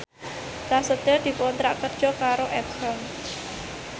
Prasetyo dikontrak kerja karo Epson